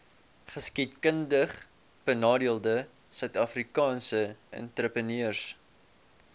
geskiedkundigbenadeelde suidafrikaanse entrepreneurs